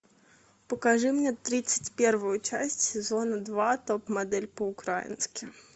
покажи мне тридцать первую часть сезона два топ модель по украински